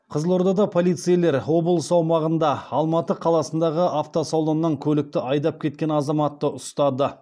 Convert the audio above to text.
қызылордада полицейлер облыс аумағында алматы қаласындағы автосалоннан көлікті айдап кеткен азаматты ұстады